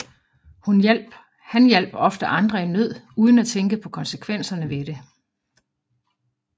Han hjalp ofte andre folk i nød uden at tænke på konsekvenserne ved det